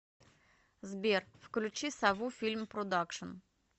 сбер включи сову фильм продакшин